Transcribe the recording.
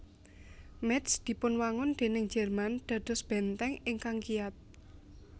Métz dipunwangun déning Jerman dados bèntèng ingkang kiyat